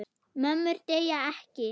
Mömmur deyja ekki.